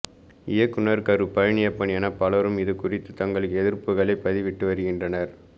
இயக்குனர் கரு பழனியப்பன் என பலரும் இதுகுறித்து தங்கள் எதிர்ப்புகளை பதிவிட்டு வருகின்றனர்